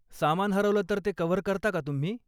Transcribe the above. सामान हरवलं तर ते कव्हर करता का तुम्ही?